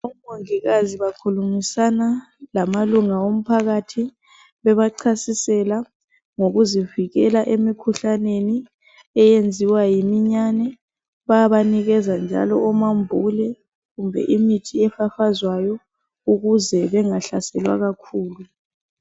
Omongikazi bafundisana lamalunga omphakathi bebachasisela ngokuzivikela emikhuhlaneni eyenziwa yimiyane Bayabanikeza njalo omambule kumbe imithi efafazwayo ukuze bengahlaselwa kakhulu.